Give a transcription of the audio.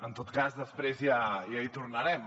en tot cas després ja hi tornarem